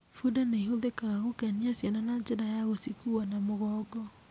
Bunda nĩ ĩhũthĩkaga gũkenia ciana na njĩra ya gũcikua na mũgongo.